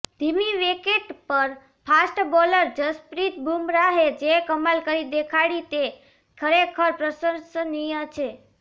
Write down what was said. ધીમી વિકેટ પર fast bowler Jasprit બુમરાહે જે કમાલ કરી દેખાડી તે ખરેખર પ્રશંસનીય છે